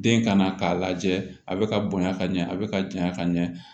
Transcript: Den ka na k'a lajɛ a bɛ ka bonya ka ɲɛ a bɛ ka janya ka ɲɛ